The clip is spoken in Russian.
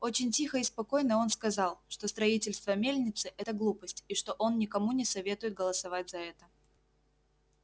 очень тихо и спокойно он сказал что строительство мельницы это глупость и что он никому не советует голосовать за это